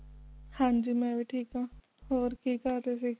ਹਾਂਜੀ ਮੈਂ ਵੀ ਠੀਕ ਹਾਂ ਹੋਰ ਕਿ ਕਰ ਰਹੇ ਸੀ?